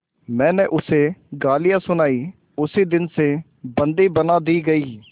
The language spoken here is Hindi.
मैंने उसे गालियाँ सुनाई उसी दिन से बंदी बना दी गई